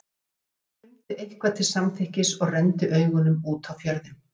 Pabbi hennar rumdi eitthvað til samþykkis og renndi augunum út á fjörðinn.